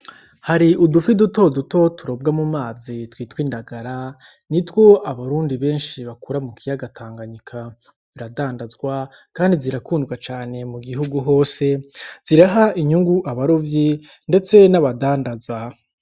Hari udufi duto duto turobwa mu mazi ,twitwa indagara nitwo abarundi benshi bakura mukiyaga tanganyika, ziradandazwa kandi zirakundwa cane mugihugu hose, ziraha inyungu abarovyi ndetse n'abadandaza.